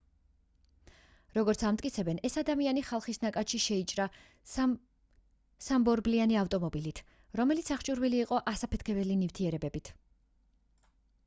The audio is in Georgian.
როგორც ამტკიცებენ ეს ადამიანი ხალხის ნაკადში შეიჭრა სამბორბლიანი ავტომობილით რომელიც აღჭურვილი იყო ასაფეთქებელი ნივთიერებებით